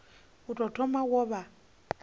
u tou thoma wo vha